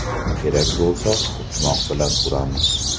Kerak bo‘lsa to‘qmoq bilan uramiz.